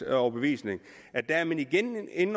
overbevisning at der er man igen inde